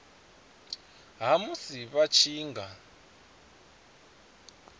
ha musi vha tshi nga